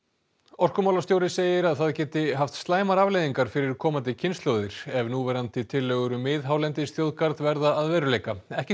orkumálastjóri segir að það geti haft slæmar afleiðingar fyrir komandi kynslóðir ef núverandi tillögur um miðhálendisþjóðgarð verða að veruleika ekki